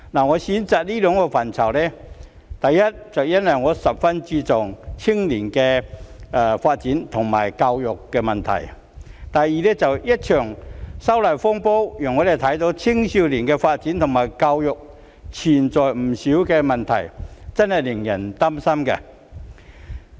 我選擇談及這兩個範疇的原因是，第一，我十分注重青少年的發展及教育問題；第二，一場反修例風波讓我們看到青少年的發展及教育存在不少問題，真的令人擔心。